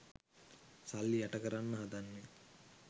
සල්ලි යට කරන්න හදන්නේ